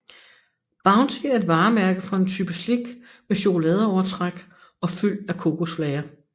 Bounty er et varemærke for en type slik med chokoladeovertræk og fyld af kokosflager